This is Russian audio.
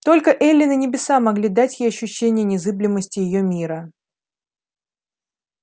только эллин и небеса могли дать ей ощущение незыблемости её мира